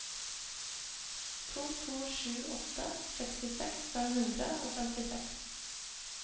to to sju åtte sekstiseks fem hundre og femtiseks